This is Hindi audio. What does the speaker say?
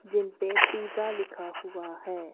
जिन पर पिज्जा लिखा हुआ है।